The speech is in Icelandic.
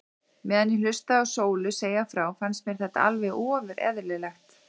Meðan ég hlustaði á Sólu segja frá fannst mér þetta allt ofur eðlilegt.